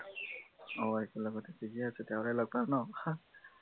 অ একেলগতে থিকে আছে তেনেহলে লগ পোৱা ন